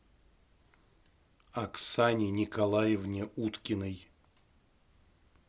оксане николаевне уткиной